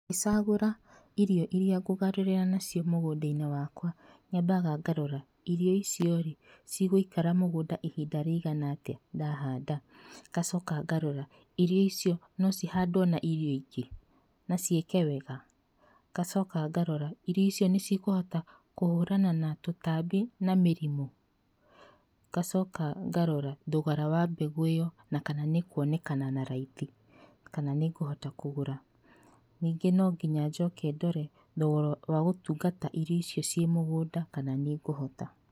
Ngĩcagũra irio irĩa ngũgarũrĩra nacio mũgũnda-inĩ wakwa nyamabaga ngarora irio icio rĩ, cigũikara mũgũnda ihinda rĩigana atĩa ndahanda? Ngacoka ngarora irio icio no cihandwo na irio ingĩ na ciĩke wega? Ngacoka ngarora irio icio nĩ cikũhota kũhũrana na tũtambi na mĩrimũ? Ngacoka ngarora thogora wa mbegũ ĩyo , na kana nĩ ĩkuonekana na raithi kana nĩ ngũhota kũgũra. Ningĩ no nginya njoke ndore thogora wa gũtungata irio ciĩ mũgũnda kana nĩ ngũhota.